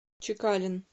чекалин